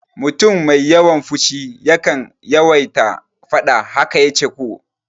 Mutum mai yawan fushi yakan yawaita faɗa, haka yace ko?